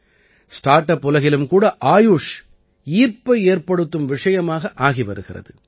start up உலகிலும் கூட ஆயுஷ் ஈர்ப்பை ஏற்படுத்தும் விஷயமாக ஆகி வருகிறது